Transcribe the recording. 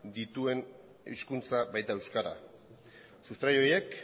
dituen hizkuntza baita euskara sustrai horiek